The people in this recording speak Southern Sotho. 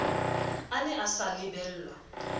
a ne a sa lebellwa